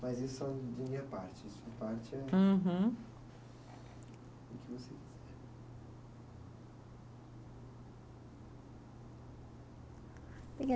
Mas isso é de minha parte. Uhum. O que você quiser